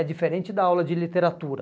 É diferente da aula de literatura.